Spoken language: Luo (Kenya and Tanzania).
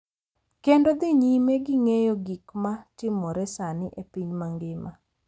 Kendo dhi nyime gi ng’eyo gik ma timore sani e piny mangima.